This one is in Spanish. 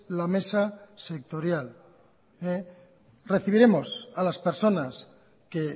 la mesa sectorial recibiremos a las personas que